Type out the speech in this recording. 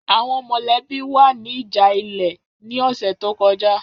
Àwọn mọ̀lẹ́bí wa ní ìjà ilẹ̀ ní ọ̀sẹ̀ tó kọjá.